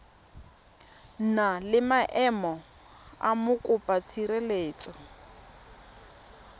na le maemo a mokopatshireletso